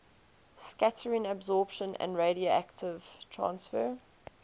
scattering absorption and radiative transfer